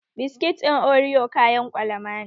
Biskit ɗin oriyo kayan ƙwalama ne